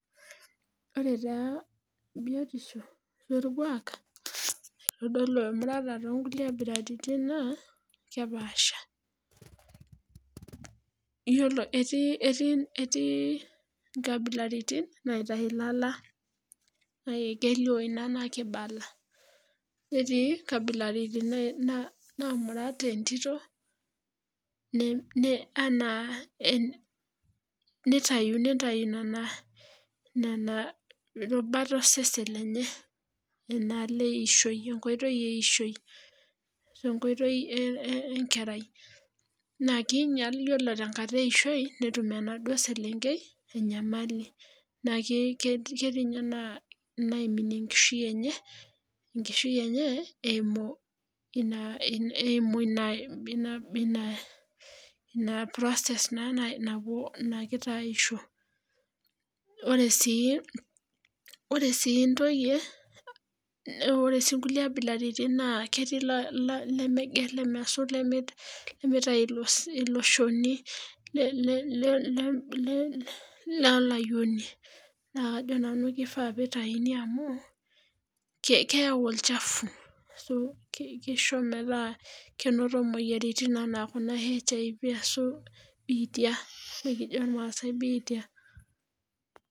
oree taa biotisho orkwak naitodolu emurata to nkabilaritin naa kepaasha iyiolo etii nkabilaritin naitayiu ilala naa keiou inaa naa keibala netii inkabilaritin naamurat entito anaa neitayu nana rubat osesen lenye enaaalo eishoi enkoitoi eishoi enkoitoi enkerai naa keinyal ore tenkata eishoi netum enaduo selenkei enyamali naa ketii inyee naaiminie enkishiu enye eimu eimu ina ina process na egira aisho oree sii intoyie oree sii inkule kabilaritin naa ketii lemegelema lemeitayu ilo shoni lolayioni amu kajoo nanu keifaa peitayuni amu kayu olchafu keiso omeeta keinoto imoyiaritin anaa HIV arashu bitia ekijo ilmaasai bitia .